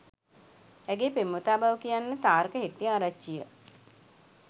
ඇගේ පෙම්වතා බව කියන්නේ තාරක හෙට්ටිආරච්චිය.